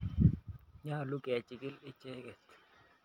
Nyalu kechikil icheket